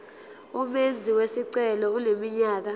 umenzi wesicelo eneminyaka